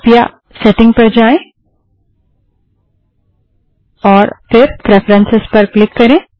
कृपया सेटिंग पर जाएँ और प्रेफरन्सस पर क्लिक करें